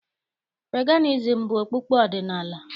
Peganizim bụ okpukpe ọdịnaala.